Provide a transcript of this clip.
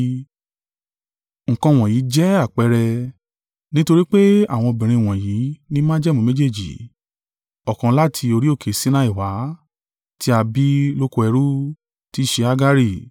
Nǹkan wọ̀nyí jẹ́ àpẹẹrẹ: nítorí pé àwọn obìnrin wọ̀nyí ní májẹ̀mú méjèèjì; ọ̀kan láti orí òkè Sinai wá, tí a bí lóko ẹrú, tí í ṣe Hagari.